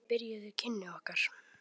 Þannig byrjuðu kynni okkar.